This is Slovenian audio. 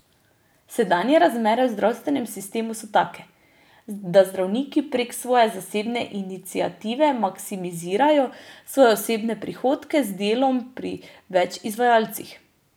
Sedanje razmere v zdravstvenem sistemu so take, da zdravniki prek svoje zasebne iniciative maksimizirajo svoje osebne prihodke z delom pri več izvajalcih.